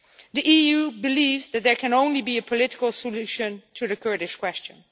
The EU believes that there can only be a political solution to the Kurdish question.